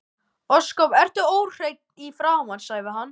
Ósköp ertu óhrein í framan, sagði hann.